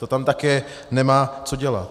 To tam také nemá co dělat.